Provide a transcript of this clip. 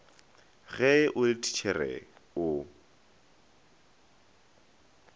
ge o le thitšhere o